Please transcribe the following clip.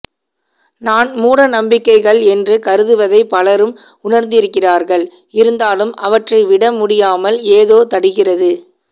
நான் மூடநம்பிக்கைகள் என்று கருதுவதைப் பலரும் உணர்ந்திருக்கிறார்கள் இருந்தாலும் அவற்றை விட முடியாமால் ஏதோ தடுக்கிறது